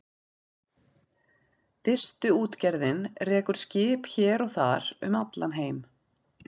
Distuútgerðin rekur skip hér og þar um allan heim.